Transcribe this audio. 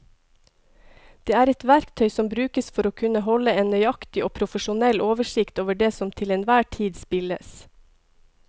Det er et verktøy som brukes for å kunne holde en nøyaktig og profesjonell oversikt over det som til enhver tid spilles.